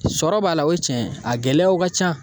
Sɔrɔ b'a la o ye tiɲɛ ye a gɛlɛyaw ka ca